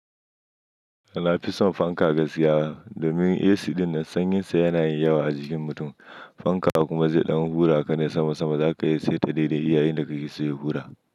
Ba na fi son fanka ga gaskiya domin AC ɗin nan sanyinsa yana yin yawa a jikin mutum. Fanka kuma zai ɗan hura ka ne sama sama za ka iya saita daidai iya in da kake so ya hura.